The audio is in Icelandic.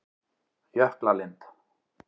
Jöklalind